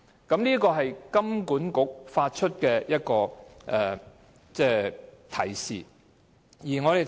這是金管局發出的一個警示。